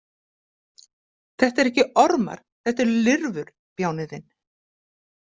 Þetta eru ekki ormar, þetta eru lirfur, bjáninn þinn!